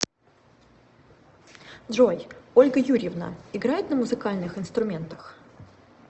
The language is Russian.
джой ольга юрьевна играет на музыкальных инструментах